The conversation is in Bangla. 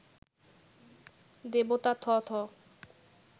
দেবতা থথ